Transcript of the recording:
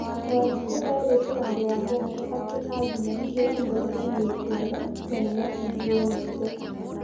Wanjikũ erĩtĩ andũ a mũhoro atĩ agimaririo hamwe na airĩtu ana na nĩmahingirwo maitho